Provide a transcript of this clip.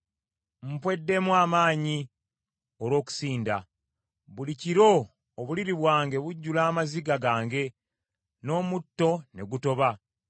Mpweddemu amaanyi olw’okusinda. Buli kiro obuliri bwange bujjula amaziga gange n’omutto ne gutoba.